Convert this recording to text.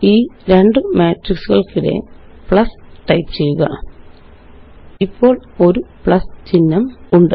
ഈ രണ്ട് മെട്രിക്സുകള്ക്കിടെ പ്ലസ് ടൈപ്പ് ചെയ്യുക ഇപ്പോള് ഒരു പ്ലസ് ചിഹ്നമുണ്ട്